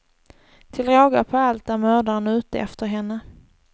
Till råga på allt är mördaren ute efter henne.